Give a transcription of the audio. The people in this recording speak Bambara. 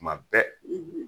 Tuma bɛɛ